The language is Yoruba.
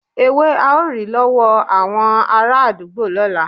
Ewe ao ri lowo awon araadugbo lola